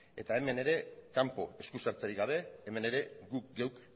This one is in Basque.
hemen ere kanpo eskusartzerik gabe hemen ere guk geuk